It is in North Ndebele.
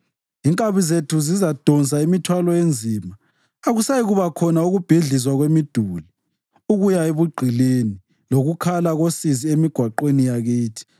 inkabi zethu zizadonsa imithwalo enzima. Akusayikuba khona ukubhidlizwa kwemiduli, ukuya ebugqilini, lokukhala kosizi emigwaqweni yakithi.